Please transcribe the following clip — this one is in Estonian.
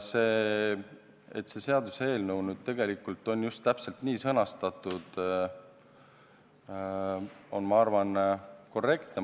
See, et see seaduseelnõu nüüd on täpselt nii sõnastatud, on minu arvates korrektne.